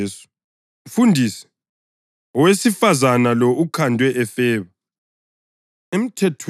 bathi kuJesu, “Mfundisi, owesifazane lo ukhandwe efeba.